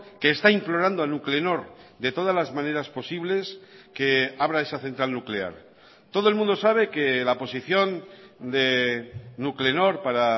que está implorando a nuclenor de todas las maneras posibles que abra esa central nuclear todo el mundo sabe que la posición de nuclenor para